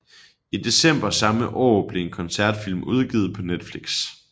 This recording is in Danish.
I december samme år blev en koncertfilm udgivet på Netflix